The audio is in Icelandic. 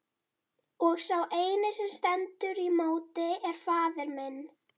Og sá eini sem stendur í móti er faðir minn!